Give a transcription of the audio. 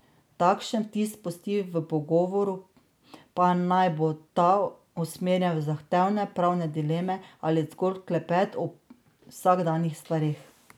Takšen vtis pusti v pogovoru, pa naj bo ta usmerjen v zahtevne pravne dileme ali zgolj klepet o vsakdanjih stvareh.